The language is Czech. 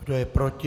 Kdo je proti?